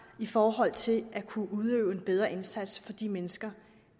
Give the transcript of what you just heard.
i forhold til at kunne udøve en bedre indsats for de mennesker